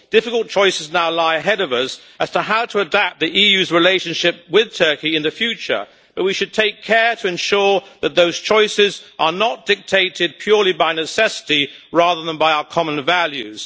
Difficult choices now lie ahead of us as to how to adapt the EU's relationship with Turkey in the future, but we should take care to ensure that those choices are not dictated purely by necessity, rather than by our common values.